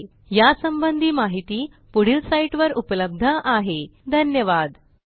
ह्या ट्युटोरियलचे भाषांतर मनाली रानडे यांनी केले असून मी रंजना भांबळे आपला निरोप घेते160सहभागासाठी धन्यवाद